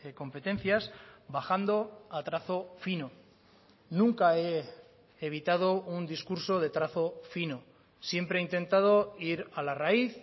competencias bajando a trazo fino nunca he evitado un discurso de trazo fino siempre he intentado ir a la raíz